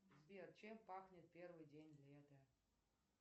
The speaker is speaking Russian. сбер чем пахнет первый день лета